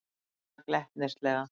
spyr hann glettnislega.